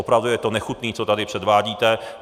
Opravdu je to nechutné, co tady předvádíte.